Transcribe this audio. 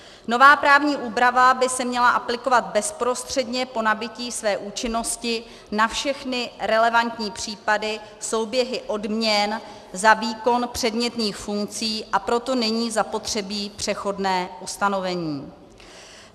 Nová právní úprava by se měla aplikovat bezprostředně po nabytí své účinnosti na všechny relevantní případy, souběhy odměn za výkon předmětných funkcí, a proto není zapotřebí přechodné ustanovení.